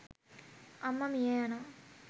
අම්ම මිය යනව.